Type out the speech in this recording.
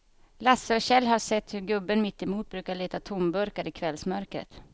Lasse och Kjell har sett hur gubben mittemot brukar leta tomburkar i kvällsmörkret.